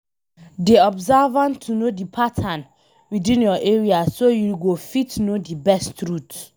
Dey observant to know di patterns within your area so you go fit know di best routes